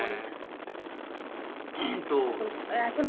হ্যাঁ তো